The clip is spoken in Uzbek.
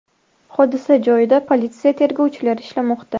Hodisa joyida politsiya tergovchilari ishlamoqda.